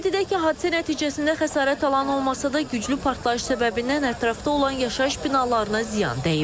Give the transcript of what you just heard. Qeyd edək ki, hadisə nəticəsində xəsarət alan olmasa da, güclü partlayış səbəbindən ətrafda olan yaşayış binalarına ziyan dəyib.